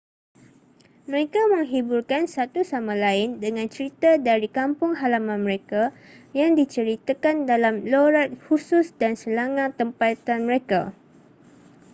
mereka menghiburkan satu sama lain dengan cerita dari kampung halaman mereka yang diceritakan dalam loghat khusus dan slanga tempatan mereka